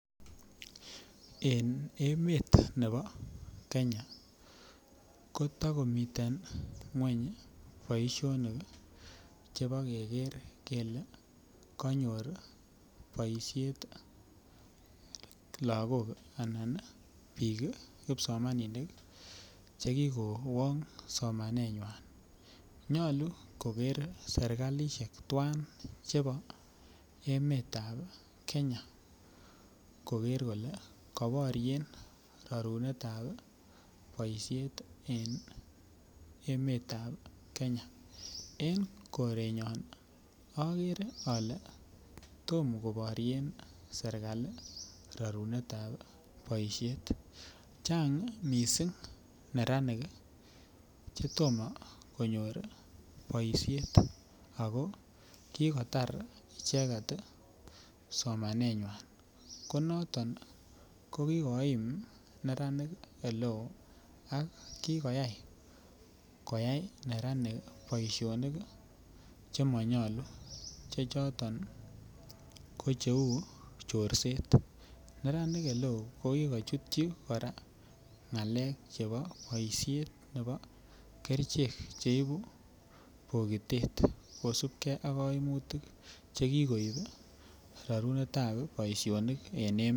En emet nebo kenya kotokimiten ngweny boisionik chebo keker kele kanyor boisionik lakok alan biik kipsomaninik chekikowong somanenywan, nyolu koker serikalisiek tuwan chebo emetab kenya ,koker kole koboryen rorunetab boisiet en emetab kenya, en korenyon akere ale tomo koborien serikali rorunetab boisiet ,chang missing neranik chetomo konyor boisiet, ako kikotar icheket somanenywan, ko kikoim neranik eleo ak kikoyai koyai neranik boisionik chemonyolu che choton ko cheu chorset, neranik eleo ko kikochutyi kora ng'alek chebo boisiet nebo kerichek cheibu bokitet kosipke akoimutik chekikoip ii rorunetab boisionik en emet.